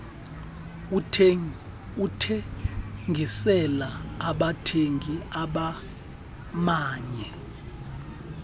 ukuthengisela abathengi bamanye